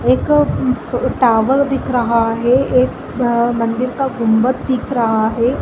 एक अ टावर दिख रहा है ये एक मंदिर का गुम्बद दिख रहा हैं ।